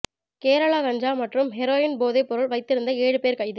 கேரளா கஞ்சா மற்றும் ஹெரோயின் போதை பொருள் வைத்திருந்த ஏழு பேர் கைது